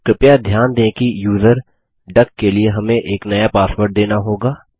कृपया ध्यान दें कि यूज़र डक के लिए हमें एक नया पासवर्ड देना होगा